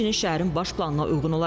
Şəhər xəstəxanası tikilir.